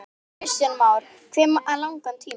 Kristján Már: Hve langan tíma?